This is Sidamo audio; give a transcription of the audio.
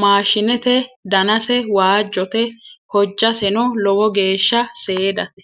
maashshineeti danase waajjote hojjaseno lowo geeshsha seedate